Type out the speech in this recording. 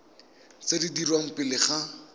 tse di dirwang pele ga